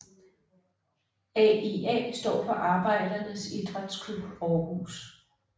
AIA står for Arbejdernes Idrætsklub Aarhus